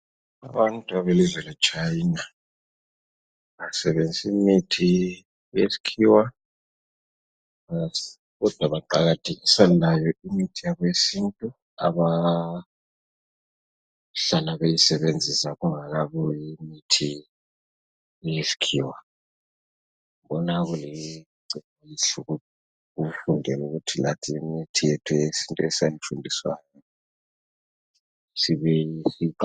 Abantu belizwe le china basebenzisa imithi yesikhiwa kodwa baqakathekisa layo imithi yakwesintu abahlala beyisebenzisa kungakabuyi imithi Eyesikhiwa ngibona kulicebo elihle ukufundela ukuthi lathi imithi yethu yesintu esayifundiswayo sibuyele siyiqakathekise